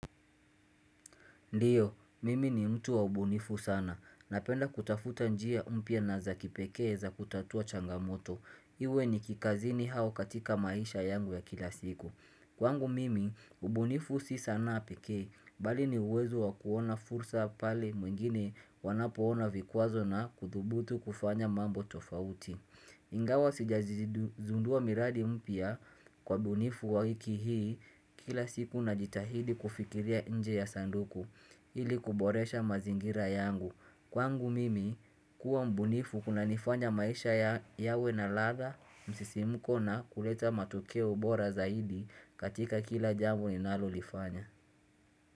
Ndiyo, mimi ni mtu wa ubunifu sana. Napenda kutafuta njia umpya na za kipekee za kutatua changamoto. Iwe ni kikazini hao katika maisha yangu ya kila siku. Kwangu mimi, ubunifu si sanaa pekee, bali ni uwezo wa kuona fursa pale mwingine wanapoona vikuazo na kudhubutu kufanya mambo tofauti. Ingawa sijazi zundua miradi mpya kwa ubunifu waiki hii kila siku na jitahidi kufikiria nje ya sanduku. Hili kuboresha mazingira yangu Kwangu mimi kuwa mbunifu kuna nifanya maisha yawe na ladha Msisi mkona kuleta matuke ubora zaidi katika kila jamu ninalo lifanya.